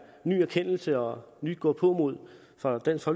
ny erkendelse og nyt gåpåmod fra dansk